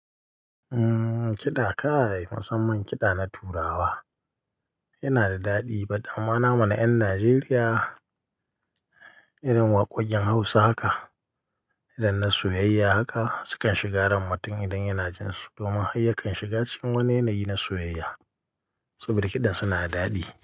Umm, kiɗa kai, musamman kiɗa na Turawa, yana da daɗi. But amma namu na ƴan Najeriya irin waƙoƙin Hausa haka, irin na soyayya haka, sukan shiga ran mutum idan yana jin su. Domin hayyakan shiga cikin wani yanayi na soyayya. Saboda kiɗan suna da daɗi.